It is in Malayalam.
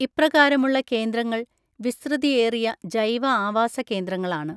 ഇപ്രകാരമുള്ള കേന്ദ്രങ്ങൾ വിസ്തൃതിയേറിയ ജൈവ ആവാസ കേന്ദങ്ങളാണ്.